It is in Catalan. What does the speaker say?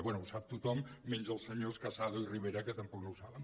bé ho sap tothom menys els senyors casado i rivera que tampoc no ho saben